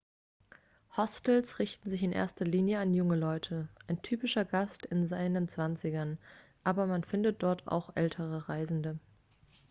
hostels richten sich in erster linie an junge leute ein typischer gast ist in seinen zwanzigern - aber man findet dort oft auch ältere reisende